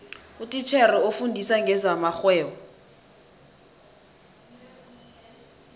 utitjhere ofundisa ngezamarhwebo